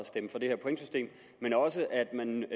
stemme for det her pointsystem men også at man